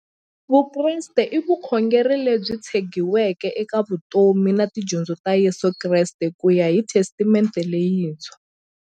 Vukreste i vukhongeri lebyi tshegiweke eka vutomi na tidyondzo ta Yesu Kreste kuya hi Testamente leyintshwa.